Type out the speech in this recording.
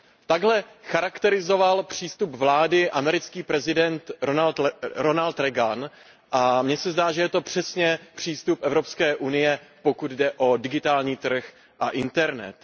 Takhle charakterizoval přístup vlády americký prezident Ronald Reagan a mně se zdá, že je to přesně přístup Evropské unie, pokud jde o digitální trh a internet.